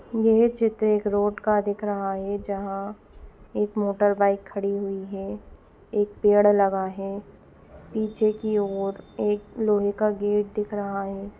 यह चित्र एक रोड का दिख रहा है जहाँ एक मोटर बाइक खड़ी हुई है एक पेड़ लगा है पीछे की और एक लोहे का गेट दिख रहा है।